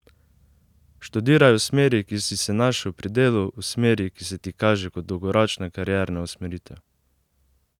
Študiraj v smeri, kjer si se našel pri delu, v smeri, ki se ti kaže kot dolgoročna karierna usmeritev.